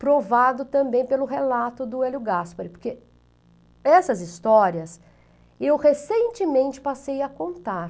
provado também pelo relato do Hélio Gaspari, porque essas histórias eu recentemente passei a contar.